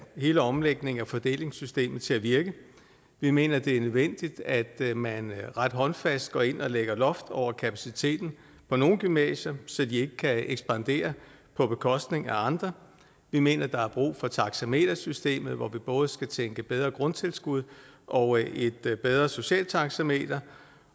hele omlægningen af fordelingssystemet til at virke vi mener det er nødvendigt at man ret håndfast går ind og lægger loft over kapaciteten på nogle gymnasier så de ikke kan ekspandere på bekostning af andre vi mener der er brug for taxametersystemet hvor vi både skal tænke bedre grundtilskud og et bedre socialt taxameter